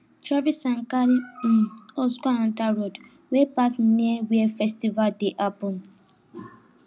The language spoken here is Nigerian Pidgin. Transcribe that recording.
traffic sign carry um us go another road wey pass near where festival dey happen